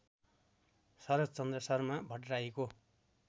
Sharadchandra Sharma भट्टर्राईको